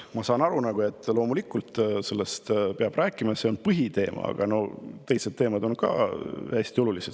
Ma saan aru, loomulikult, sellest peab rääkima, see on põhiteema, aga ka teised teemad on hästi olulised.